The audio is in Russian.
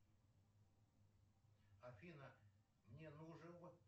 афина мне нужен